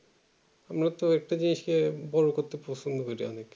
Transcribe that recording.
আমরা তো একটা জিনিস কে বড়ো করতে পছন্দ করি আমি